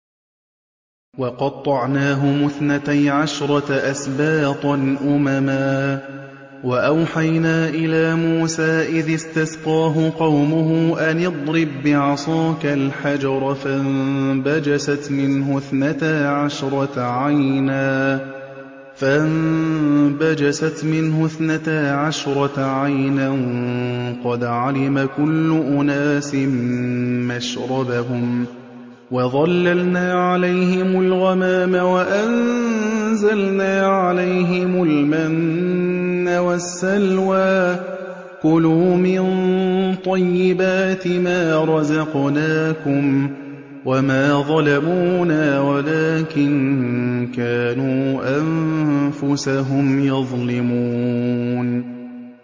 وَقَطَّعْنَاهُمُ اثْنَتَيْ عَشْرَةَ أَسْبَاطًا أُمَمًا ۚ وَأَوْحَيْنَا إِلَىٰ مُوسَىٰ إِذِ اسْتَسْقَاهُ قَوْمُهُ أَنِ اضْرِب بِّعَصَاكَ الْحَجَرَ ۖ فَانبَجَسَتْ مِنْهُ اثْنَتَا عَشْرَةَ عَيْنًا ۖ قَدْ عَلِمَ كُلُّ أُنَاسٍ مَّشْرَبَهُمْ ۚ وَظَلَّلْنَا عَلَيْهِمُ الْغَمَامَ وَأَنزَلْنَا عَلَيْهِمُ الْمَنَّ وَالسَّلْوَىٰ ۖ كُلُوا مِن طَيِّبَاتِ مَا رَزَقْنَاكُمْ ۚ وَمَا ظَلَمُونَا وَلَٰكِن كَانُوا أَنفُسَهُمْ يَظْلِمُونَ